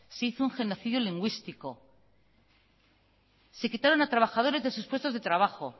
se hizo un genocidio lingüístico se quitaron a trabajadores de sus puestos de trabajo